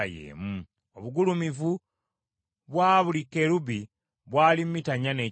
Obugulumivu bwa buli kerubi bwali mita nnya n’ekitundu.